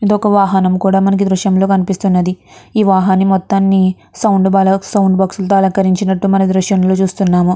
ఇది ఒక వాహనం కుడా మనకి దృశ్యంలో కనిపిస్తున్నది ఈ వాహన మొత్తని సౌండ్ బ బోక్సులతో అలంకరించినట్టు మనం దృశ్యంలో చూస్తున్నాము.